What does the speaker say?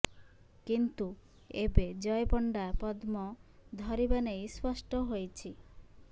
କିନ୍ତୁ ଏବେ ଜୟ ପଣ୍ଡା ପଦ୍ମ ଧରିବା ନେଇ ସ୍ପଷ୍ଟ ହୋଇଛି